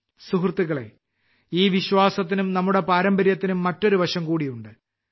സുഹൃത്തുക്കളേ ഈ വിശ്വാസത്തിനും നമ്മുടെ ഈ പാരമ്പര്യത്തിനും മറ്റൊരു വശംകൂടിയുണ്ട്